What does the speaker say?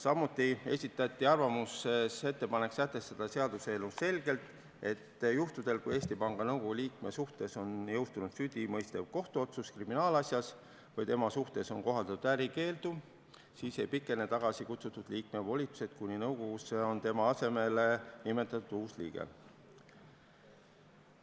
Samuti esitati arvamuses ettepanek sätestada seaduseelnõus selgelt, et juhtudel, kui Eesti Panga Nõukogu liikme suhtes on jõustunud süüdimõistev kohtuotsus kriminaalasjas või tema suhtes on kohaldatud ärikeeldu, siis ei pikene tagasikutsutud liikme volitused, kuni nõukogusse on tema asemele nimetatud uus liige.